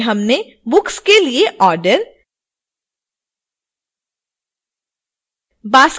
इस ट्यूटोरियल में हमने book के लिए ऑर्डर